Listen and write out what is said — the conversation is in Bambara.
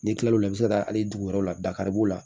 N'i kilal'o la i bɛ se ka taa hali dugu wɛrɛw la dakari b'o la